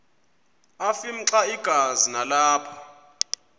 afimxa igazi nalapho